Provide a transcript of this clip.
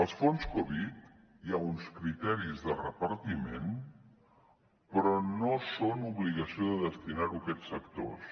els fons covid hi ha uns criteris de repartiment però no són obligació de destinar los a aquests sectors